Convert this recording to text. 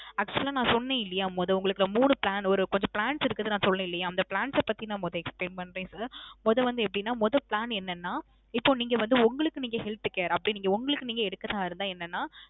actual லா நான் சொன்னேன் இல்லியா, மொதோ உங்களுக்கு மூணு plan ஒரு கொஞ்ச plans இருக்குனு நான் சொன்னேன் இல்லியா, அந்த plans ச பத்தி நான் மொத explain பன்றேன் sir. மொதோ வந்து எப்பிடின்னா மொதோ plan என்னன்னா, இப்போ நீங்க வந்து உங்களுக்கு நீங்க health care அப்படி நீங்க உங்களுக்கு நீங்க எடுக்குறதா இருந்தா, என்னன்னா.